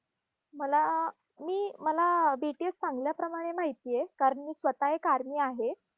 मला मी मला BTS चांगल्या प्रमाणे माहिती आहे, कारण मी स्वतः एक army आहे.